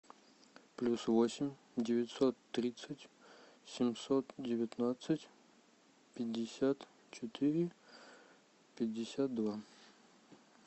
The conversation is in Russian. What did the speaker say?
плюс восемь девятьсот тридцать семьсот девятнадцать пятьдесят четыре пятьдесят два